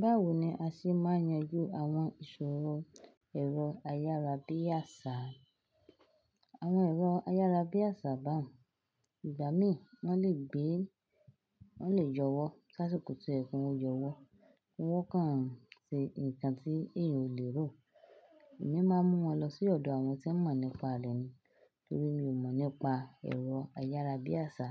Báwo ni a ṣe máa ń yanjú àwọn ìṣòro ẹ̀rọ ayárabíàsá? Àwọn ẹ̀rọ ayárabíàṣá bá un igbà mí, wọ́n lè gbé, wọ́n lè yọwọ́. Si asíkò ti ó yẹ ki wọ́n yọwọ́. Wọ́n kàn sí nnkan tí èèyàn ò lè rò. Èmi máa ń mú wọn lọ sí ọ̀dọ̀ àwọn tí wọ́n mọ̀ nípa rẹ̀ ni. Nítorí mi ò mọ̀ nípa ẹ̀rọ ayárabíàṣá